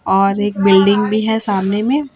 और एक बिल्डिंग भी हैं सामने में।